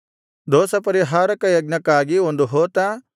ದೋಷಪರಿಹಾರಕ ಯಜ್ಞಕ್ಕಾಗಿ ಒಂದು ಹೋತ